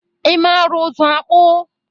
Ị mara ụzụ akpụ?